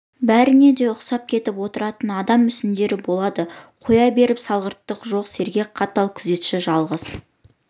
бәріне де ұқсап кетіп отыратын адам мүсіндері болады қоя беріп салғырттығы жоқ сергек қатал күзетші жалғыз